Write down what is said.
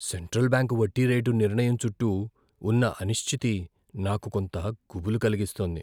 Central bank వడ్డీ rate నిర్ణయం చుట్టూ ఉన్న అనిశ్చితి నాకు కొంత గుబులు కలిగిస్తోంది.